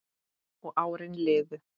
Og árin liðu.